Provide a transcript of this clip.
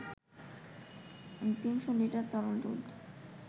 ৩০০ litre তরল দুধ